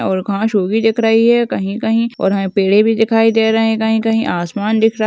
और घास वो भी दिख रही है कई कई और वही पेड़े भी दिखाई दे रहे कई कई आसमान दिख रहा --